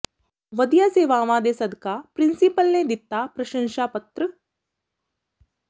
ਵਧੀਆ ਸੇਵਾਵਾਂ ਦੇ ਸਦਕਾ ਪਿ੍ਰੰਸੀਪਲ ਨੇ ਦਿੱਤਾ ਪ੍ਰਸ਼ੰਸ਼ਾ ਪੱਤਰ